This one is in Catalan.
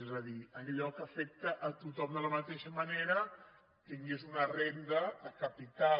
és a dir que allò que afecta a tothom de la mateixa manera tingués una renda de capital